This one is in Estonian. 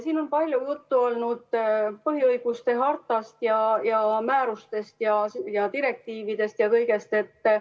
Siin on palju juttu olnud põhiõiguste hartast ja määrustest ja direktiividest ja kõigest sellisest.